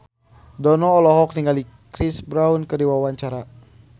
Dono olohok ningali Chris Brown keur diwawancara